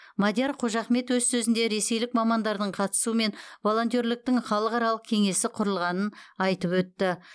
мадияр қожахмет өз сөзінде ресейлік мамандардың қатысуымен волонтерліктің халықаралық кеңесі құрылғанын айтып өтті